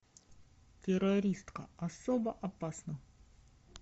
террористка особо опасна